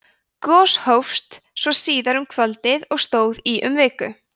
gos hófst svo síðar um kvöldið og stóð í um viku